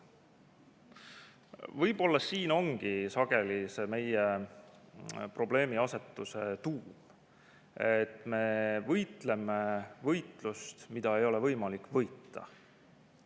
Võib-olla siin ongi sageli meie probleemiasetuse tuum, et me võitleme võitlust, mida ei ole võimalik võita.